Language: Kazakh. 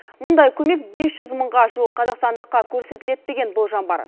мұндай көмек бес жүз мыңға жуық қазақстандыққа көрсетіледі деген болжам бар